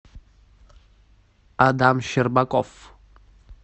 адам щербаков